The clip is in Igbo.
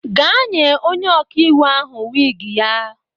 Gaa nye onye ọkaiwu ahụ wiigi ya!